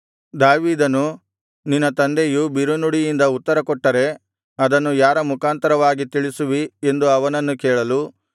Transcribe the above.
ದಾವೀದನು ನಿನ್ನ ತಂದೆಯು ಬಿರುನುಡಿಯಿಂದ ಉತ್ತರಕೊಟ್ಟರೆ ಅದನ್ನು ಯಾರ ಮುಖಾಂತರವಾಗಿ ತಿಳಿಸುವಿ ಎಂದು ಅವನನ್ನು ಕೇಳಲು